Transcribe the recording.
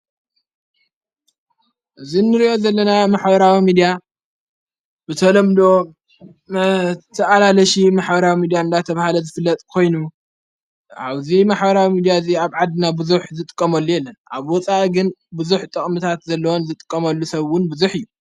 እዝንርእዮት ዘለናያ መኅበራዊ ሚድያ ብተሎምል ተዓላለሽ መሓበራዊ ሚድያን ላ ተብሃለ ዝፍለጥ ኮይኑ ዓውዙይ መኅበራዊ ሚዲያ እዙይ ኣብ ዓድና ብዙኅ ዝጥቆመሉ የለን ኣብ ወፃኢ ግን ብዙኅ ጠቕምታት ዘለወን ዝጥቆመሉ ሰውን ብዙኅ እዩ።